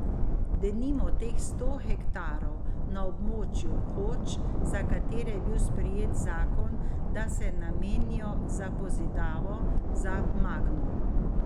Denimo teh sto hektarov na območju Hoč, za katere je bil sprejet zakon, da se namenijo za pozidavo, za Magno.